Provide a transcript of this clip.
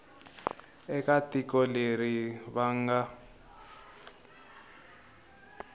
eka tiko leri va nga